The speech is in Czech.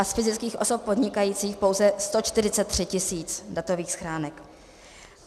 A z fyzických osob podnikajících pouze 143 000 datových schránek.